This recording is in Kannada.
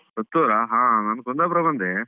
ಪುತ್ತೂರಾ? ಹಾ ನಾನು ಕುಂದಾಪುರ ಬಂದೆ.